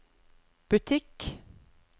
butikk